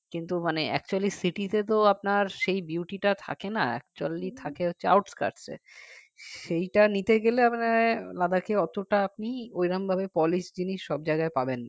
কিন্তু মানে actually city তে তো আপনার সেই beauty থাকে না actually থাকে হচ্ছে outcaste এ সেইটা নিতে গেলে আপনাকে Ladakh অতটা আপনি ওই রকম ভাবে polish জিনিস সব জায়গায় পাবেনা